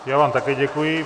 Já vám také děkuji.